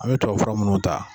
An mi tubabu fura munnu ta